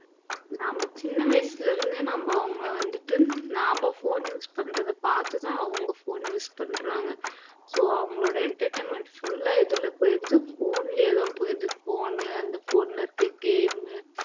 நம்ம சின்ன வயசுல இருந்தே நம்ம அவங்க வந்துட்டு நாம phone use பண்றதைப் பார்த்து தான் அவங்க phone use பண்றாங்க so அவங்களோட entertainmentfull ஆ எதுல போயிடுது phone லயேதான் போயிடுது phone அந்த phone ல இருக்கிற game